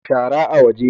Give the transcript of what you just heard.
Shara a waje